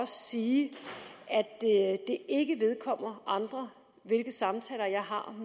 sige at det ikke vedkommer andre hvilke samtaler jeg har